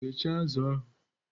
Ghechaa azụ ahụ!